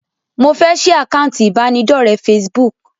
Mo fẹ́ sì àkántì ibanidọ̀rẹ́ Facebook.